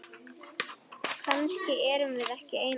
Kannski erum við ekki einar.